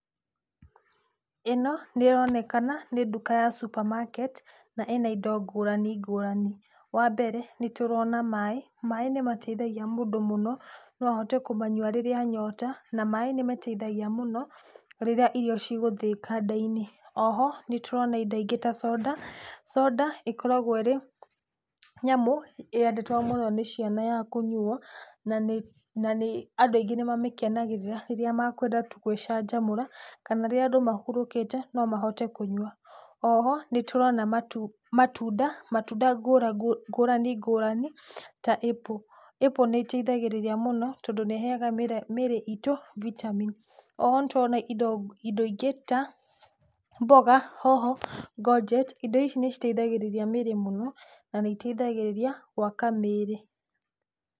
Ĩno, nĩronekana ni nduka ya supermarket, na ĩna indo ngũrani ngũrani. Wa mbere nĩtũrona maĩ, maĩ nĩmateithagia mũndũ mũno, no ũhote kũmanyua rĩrĩa anyota, na maĩ nĩmateithagia mũno rĩrĩa irio cigũthĩika nda-inĩ. O ho nĩtũrona indo ingĩ ta conda, conda ĩkoragwo ĩrĩ nyamũ yendetwo mũno nĩ ciana ya kũnyuo, na nĩ na nĩ andũ aingĩ nĩmamĩkenagĩrĩra rĩrĩa makwenda gwĩcanjamũra, kana rĩrĩa andũ mahurũkĩte, no mahote kũnyua. O ho nĩtũrona matu, matunda ngũra ngũrani ngũrani ta apple. Apple nĩiteithagĩrĩria mũno, tondũ nĩĩheaga mĩre mĩrĩ itũ vitamin. O ho nĩtũrano indo indo ingĩ ta mboga, hoho, ngonjeti, indo ici nĩciteithagĩrĩrĩa mĩrĩ mũno, na nĩiteithagĩrĩria gwaka mĩri.